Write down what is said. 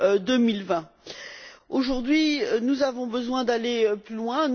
2020. Aujourd'hui, nous avons besoin d'aller plus loin.